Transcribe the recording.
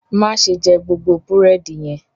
Má ṣe jẹ gbogbo búrẹ́dì yẹn!